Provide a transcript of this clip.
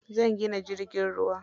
Zan gina jirgin ruwa.